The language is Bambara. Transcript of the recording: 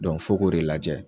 fo k'o de lajɛ.